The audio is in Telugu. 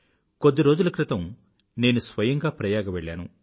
కొద్ది రోజుల క్రితం నేను స్వయంగా ప్రయాగ వెళ్ళాను